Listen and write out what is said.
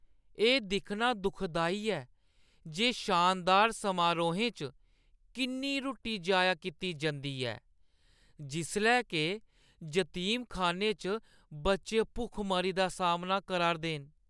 एह् दिक्खना दुखदाई ऐ जे शानदार समारोहें च किन्नी रुट्टी जाया कीती जंदी ऐ जिसलै के जतीमखान्ने च बच्चे भुखमरी दा सामना करा 'रदे न ।